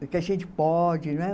Que a gente pode, não é?